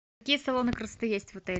какие салоны красоты есть в отеле